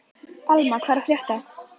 Alma, hvað er að frétta?